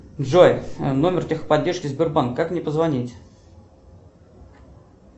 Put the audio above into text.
джой номер техподдержки сбербанка как мне позвонить